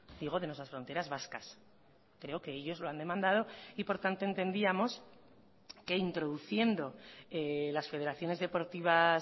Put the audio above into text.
digo de nuestras fronteras vascas creo que ellos lo han demandado y por tanto entendíamos que introduciendo las federaciones deportivas